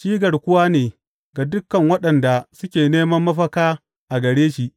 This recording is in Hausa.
Shi garkuwa ne ga dukan waɗanda suke neman mafaka a gare shi.